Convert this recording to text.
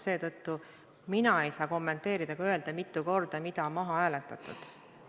Seetõttu mina ei saa kommenteerida ega öelda, mitu korda mida on maha hääletatud.